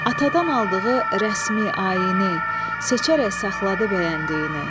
Atadan aldığı rəsmi ayini seçərək saxladı bəyəndiyini.